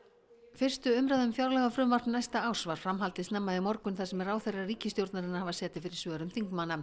fyrstu umræðu um fjárlagafrumvarp næsta árs var framhaldið snemma í morgun þar sem ráðherrar ríkisstjórnarinnar hafa setið fyrir svörum þingmanna